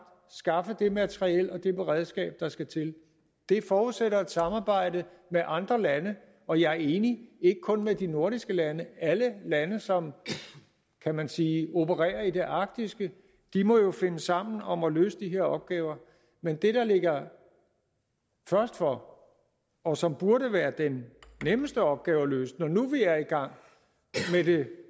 skaffe det materiel og det beredskab der skal til det forudsætter et samarbejde med andre lande og jeg er enig ikke kun med de nordiske lande alle lande som kan man sige opererer i det arktiske må jo finde sammen om at løse de her opgaver men det der ligger først for og som burde være den nemmeste opgave at løse når nu vi er i gang med det